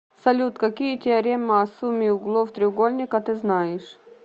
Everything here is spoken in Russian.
салют какие теорема о сумме углов треугольника ты знаешь